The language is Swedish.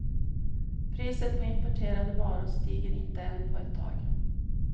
Priset på importerade varor stiger inte än på ett tag.